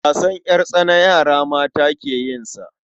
Wasan ƴartsana yara mata ke yin sa.